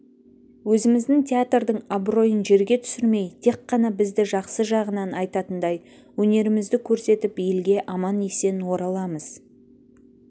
өзіміздің театрдың абыройын жерге түсірмей тек қана бізді жақсы жағынан айтатындай өнерімізді көрсетіп елге аман-есен ораламыз